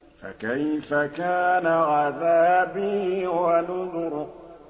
فَكَيْفَ كَانَ عَذَابِي وَنُذُرِ